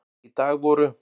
Í dag voru